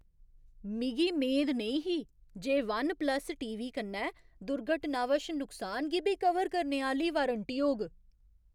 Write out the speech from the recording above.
मिगी मेद नेईं ही जे वन प्लस टीवी कन्नै दुर्घटनावश नुकसान गी बी कवर करने आह्‌ली वारंटी होग।